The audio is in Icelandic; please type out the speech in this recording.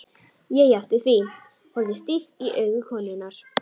Ég játti því, horfði stíft í augu konunnar.